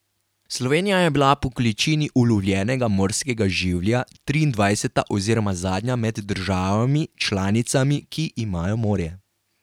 Slovenija je bila po količini ulovljenega morskega življa triindvajseta oziroma zadnja med državami članicami, ki imajo morje.